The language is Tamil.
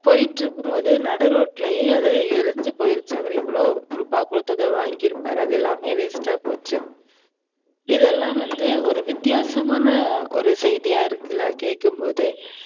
போயிட்டு இருக்கும்போது நடு ரோட்டுலையே அது எரிஞ்சு போயிருச்சு. அவரு எவளோ ரூபா குடுத்து இத வாங்கிருப்பாரு அது எல்லாமே waste ஆ போச்சு. இதெல்லாம் வந்து ஒரு வித்யாசமான ஒரு செய்தியா இருக்குல கேக்கும்போதே